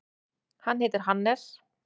Hann heitir Hannes.